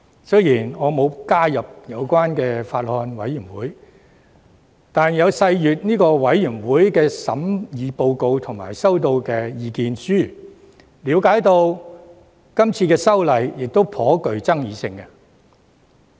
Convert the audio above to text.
雖然我並未加入有關的法案委員會，卻有細閱法案委員會提交的審議報告及所收到的意見書，並了解這項修訂法案頗具爭議性。